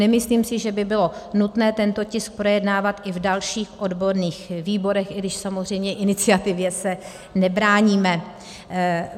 Nemyslím si, že by bylo nutné tento tisk projednávat i v dalších odborných výborech, i když samozřejmě iniciativě se nebráníme.